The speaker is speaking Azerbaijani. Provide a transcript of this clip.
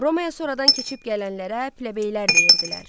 Romaya sonradan keçib gələnlərə plebeylər deyirdilər.